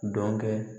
Dɔnkɛ